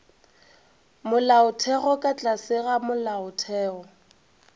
molaotheo ka tlase ga molaotheo